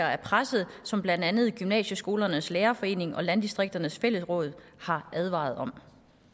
er presset som blandt andet gymnasieskolernes lærerforening og landdistrikternes fællesråd har advaret om